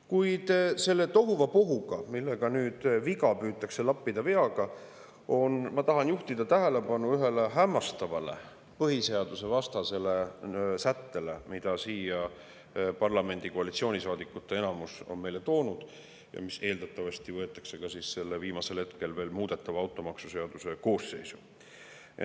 Kuid selles tohuvabohus, milles nüüd viga püütakse lappida veaga, ma tahan juhtida tähelepanu ühele hämmastavale põhiseadusvastasele sättele, mille parlamendi koalitsioonisaadikute enamus on meile siia toonud ja mis eeldatavasti võetakse ka selle viimasel hetkel veel muudetava automaksuseaduse koosseisu.